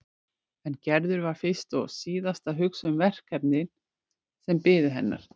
En Gerður var fyrst og síðast að hugsa um verkefnin sem biðu hennar.